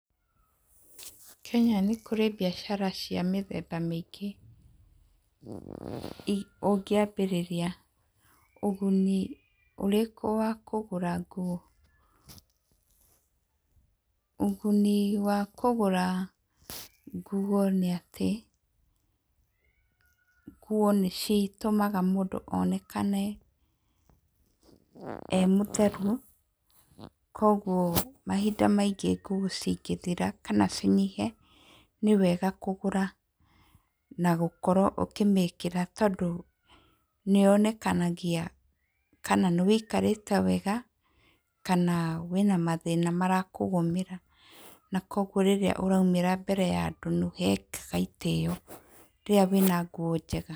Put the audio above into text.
Kenya nĩ kũrĩ mbiacara cia mĩthemba mĩingĩ ũngĩambĩrĩria ũguni ũrĩkũ wa kũgũra nguo. Ũguni wa kũgũra nguo nĩ atĩ nguo nĩ citũmaga mũndũ onekane e mũtheru, koguo mahinda maingĩ nguo cingĩthira kana cinyihe, nĩ wega kũgũra na gũkorwo ũkĩmĩkĩra tondũ nĩ yonekanagia kana nĩ ũikarĩte wega kana wĩna mathĩna marakũgũmĩra. Na koguo rĩrĩa ũraumĩra mbere ya andũ nĩ ũhekaga ĩtĩo rĩrĩa wĩna nguo njega.